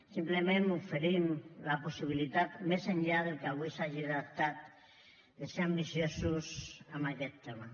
simplement oferim la possibilitat més enllà del que avui s’hagi adoptat de ser ambiciosos en aquest tema